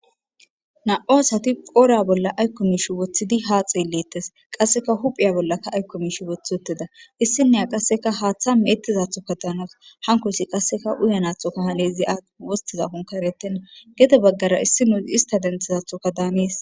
Na7u asati poora bolla aykko mishi woththidi ha xeellettes qasseka huphiya bollaka aykko miishi woththi wotteda issinneya qasseka haaththa meettizathoka daanas hankoysi qasseka uyanathokaha leezi aa wostiza konkaretenna gede baggara issi nuusi ista denthizathoka daamees.